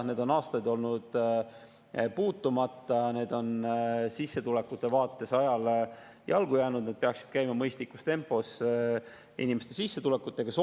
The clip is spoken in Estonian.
Need on olnud aastaid puutumata ja on sissetulekute vaates ajale jalgu jäänud, nende peaks käima mõistlikus tempos inimeste sissetulekutega kaasas.